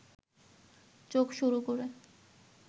চোখ সরু করে